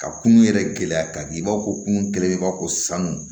Ka kunun yɛrɛ gɛlɛya ka b'aw ko kun kɛlen b'a fɔ ko sanu